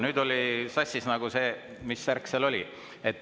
Nüüd oli sassis nagu see, mis värk seal oli.